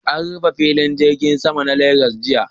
An rufe filin jirgin Sama na Legas jiya